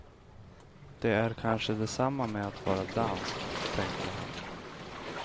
Det är kanske detsamma med att vara dansk, tänkte han.